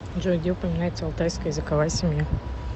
джой где упоминается алтайская языковая семья